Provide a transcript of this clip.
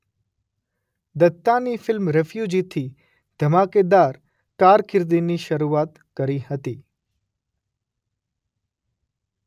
દત્તાની film રીફ્યુજીથી ધમાકેદાર કારકિર્દીની શરુઆત કરી હતી.